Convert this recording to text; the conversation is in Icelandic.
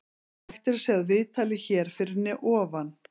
Hægt er að sjá viðtalið hér fyrir ofan.